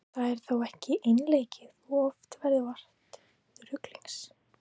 Það er þó ekki einleikið og oft verður vart ruglings.